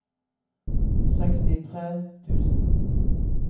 sekstitre tusen